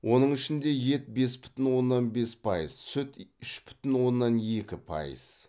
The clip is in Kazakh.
оның ішінде ет бес бүтін оннан бес пайыз сүт үш бүтін оннан екі пайыз